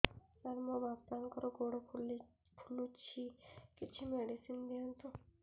ସାର ମୋର ବାପାଙ୍କର ଗୋଡ ଫୁଲୁଛି କିଛି ମେଡିସିନ ଦିଅନ୍ତୁ